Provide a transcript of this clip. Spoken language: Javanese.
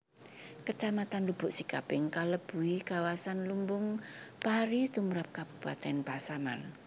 Kecamatan Lubuk Sikaping kalebui kawasan lumbung pari tumrap kabupatèn Pasaman